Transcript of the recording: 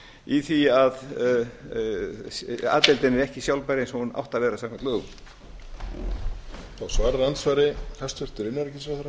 í því að a deildin er ekki sjálfbær eins og hún átti að vera samkvæmt lögum